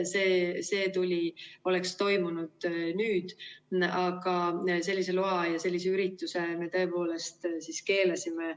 See oleks toimunud nüüd, aga sellise loa ja selle ürituse me tõepoolest keelasime.